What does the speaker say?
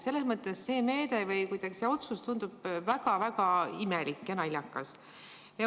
Selles mõttes tundub see meede või otsus kuidagi väga imelik ja naljakas.